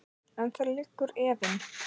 En þar liggur efinn.